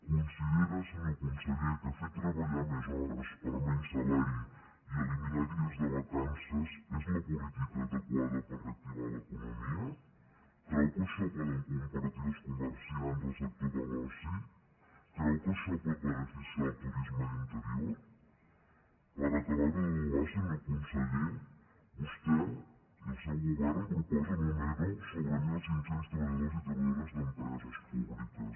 considera senyor conseller que fer treballar més hores per menys salari i eliminar dies de vacances és la política adequada per reactivar l’economia creu que això ho poden compartir els comerciants o el sector de l’oci creu que això pot beneficiar el turisme d’interior per acabar ho d’adobar senyor conseller vostè i el seu govern proposen un ero sobre mil cinc cents treballadors i treballadores d’empreses públiques